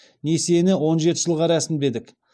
несиені он жеті жылға рәсімдедік